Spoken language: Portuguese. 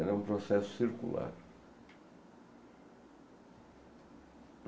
Ela é um processo circular.